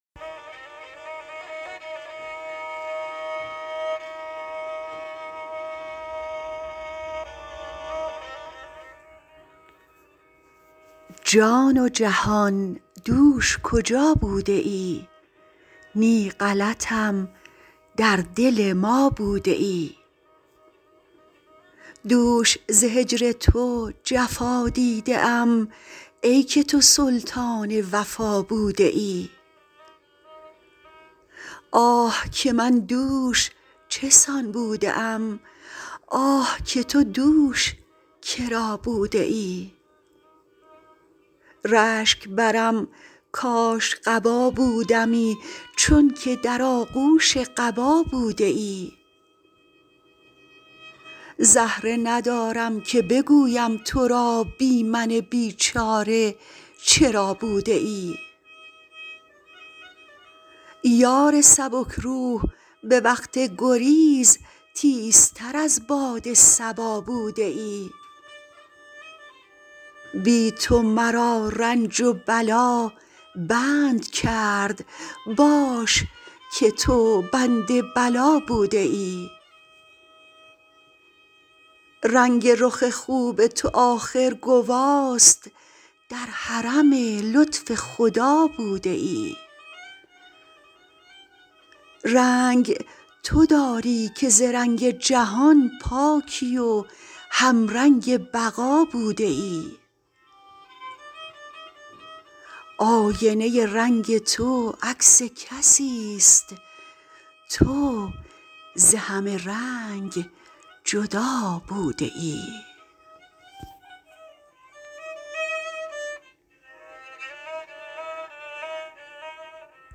جان و جهان دوش کجا بوده ای نی غلطم در دل ما بوده ای دوش ز هجر تو جفا دیده ام ای که تو سلطان وفا بوده ای آه که من دوش چه سان بوده ام آه که تو دوش کرا بوده ای رشک برم کاش قبا بودمی چونک در آغوش قبا بوده ای زهره ندارم که بگویم ترا بی من بیچاره چرا بوده ای یار سبک روح به وقت گریز تیزتر از باد صبا بوده ای بی تو مرا رنج و بلا بند کرد باش که تو بند بلا بوده ای رنگ رخ خوب تو آخر گواست در حرم لطف خدا بوده ای رنگ تو داری که ز رنگ جهان پاکی و همرنگ بقا بوده ای آینه ای رنگ تو عکس کسیست تو ز همه رنگ جدا بوده ای